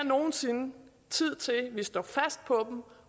nogen sinde tid til at vi står fast på